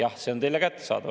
Jah, see on teile kättesaadav.